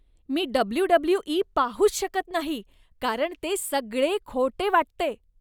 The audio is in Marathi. मी डब्ल्यूडब्ल्यूई पाहूच शकत नाही. कारण ते सगळे खोटे वाटते.